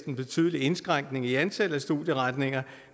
en betydelig indskrænkning i antallet af studieretninger